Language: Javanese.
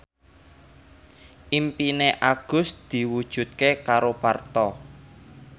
impine Agus diwujudke karo Parto